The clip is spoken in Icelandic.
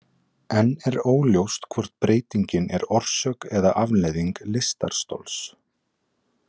Enn er óljóst hvort breytingin er orsök eða afleiðing lystarstols.